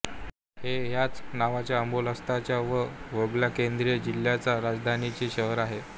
ते ह्याच नावाच्या ओब्लास्ताच्या व वोल्गा केंद्रीय जिल्ह्याच्या राजधानीचे शहर आहे